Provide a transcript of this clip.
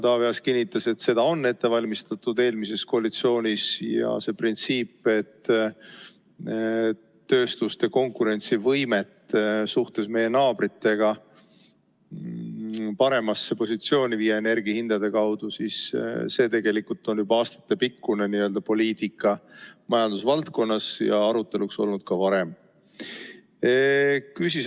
Taavi Aas kinnitas, et seda valmistati ette eelmises koalitsioonis ja see printsiip, et tööstuste konkurentsivõimet viia energiahindade kaudu meie naabritega võrreldes paremasse positsiooni, on tegelikult majandusvaldkonnas juba aastatepikkune poliitika ja arutelul olnud ka varem.